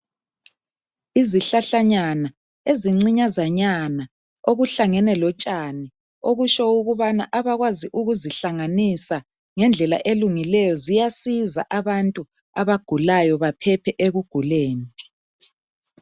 Izihlahlanyana ezincinyazanyana, okuhlangene lotshani. Okusho ukubana abakwazi ukuzihlanganisa ngendlela elungileyo, ziyasiza abantu abagulayo baphephe ekuguleni.